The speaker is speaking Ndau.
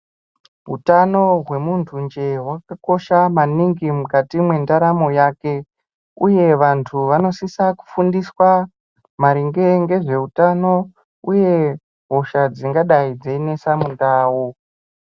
Utano hemunhu njee hwakakosha maningi mukati mwendaramo yake uye vantu vanosisa kufundiswa maringe ngezveutano uye hosha dzingadai dzeinesa mundau.